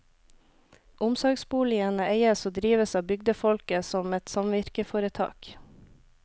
Omsorgsboligene eies og drives av bygdefolket som et samvirkeforetak.